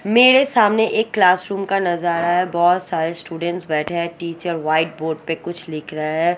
मेरे सामने एक क्लासरुम का नजारा है बहोत सारे स्टूडेंट बैठे हैं टीचर व्हाइट बोर्ड पे कुछ लिख रहा है।